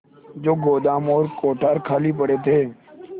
जो गोदाम और कोठार खाली पड़े थे